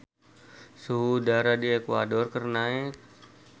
Suhu udara di Ekuador keur naek